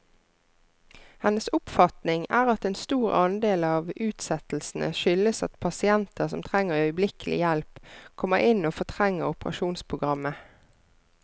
Hennes oppfatning er at en stor andel av utsettelsene skyldes at pasienter som trenger øyeblikkelig hjelp, kommer inn og fortrenger operasjonsprogrammet.